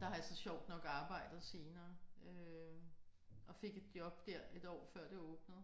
Der har jeg så sjovt nok arbejdet senere øh. Og fik et job der et år før det åbnede